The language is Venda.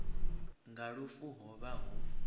nga lufu ho vha hu